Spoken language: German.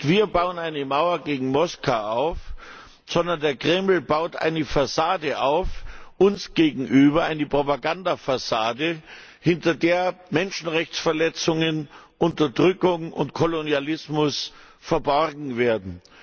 Nicht wir bauen eine Mauer gegen Moskau auf, sondern der Kreml baut eine Fassade uns gegenüber auf eine Propagandafassade, hinter der Menschenrechtsverletzungen, Unterdrückung und Kolonialismus verborgen werden.